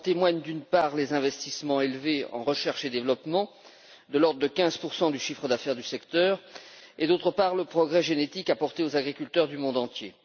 En témoignent, d'une part, les investissements élevés dans la recherche et le développement, de l'ordre de 15 du chiffre d'affaires du secteur, et, d'autre part, le progrès génétique apporté aux agriculteurs du monde entier.